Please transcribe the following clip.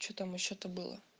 что там ещё то было